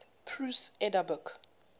prose edda book